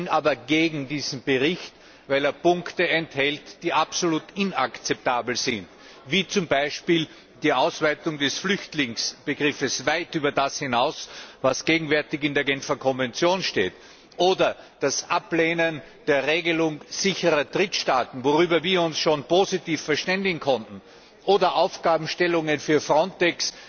Ich bin aber gegen diesen Bericht, weil er Punkte enthält, die absolut inakzeptabel sind beispielsweise die Ausweitung des Flüchtlingsbegriffs weit über das hinaus, was gegenwärtig in der Genfer Konvention steht, oder die Ablehnung der Regelung sicherer Drittstaaten, worüber wir uns schon positiv verständigen konnten, oder Aufgabenstellungen für Frontex,